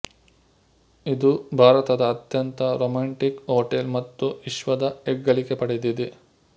ಇದು ಭಾರತದ ಅತ್ಯಂತ ರೋಮ್ಯಾಂಟಿಕ್ ಹೋಟೆಲ್ ಮತ್ತು ವಿಶ್ವದ ಹೆಗ್ಗಳಿಕೆ ಪಡೆದಿದೆ